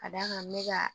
Ka d'a kan n bɛ ka